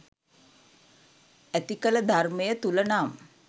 ඇතිකල ධර්මය තුළ නම්